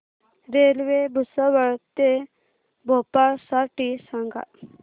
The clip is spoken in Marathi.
रेल्वे भुसावळ ते भोपाळ साठी सांगा